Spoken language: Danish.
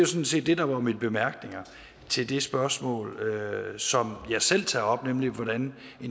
sådan set det der var mine bemærkninger til det spørgsmål som jeg selv tager op nemlig hvorvidt en